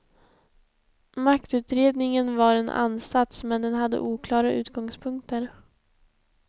Maktutredningen var en ansats, men den hade oklara utgångspunkter.